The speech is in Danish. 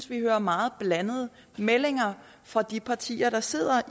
vi hører meget blandede meldinger fra de partier der sidder